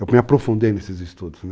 Eu me aprofundei nesses estudos, né?